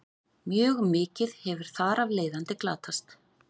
Mjög mikið hefur þar af leiðandi glatast.